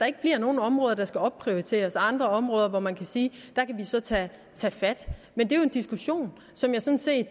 ikke bliver nogle områder der skal opprioriteres andre områder hvor man kan sige at vi så tage tage fat men det er en diskussion som jeg sådan set